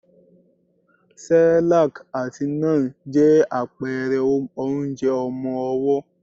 Cerelac àti Nan je àpẹrẹ onjẹ ọmọwọ́.